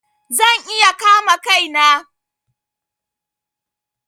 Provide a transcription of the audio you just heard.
Zan iya kama Kai na.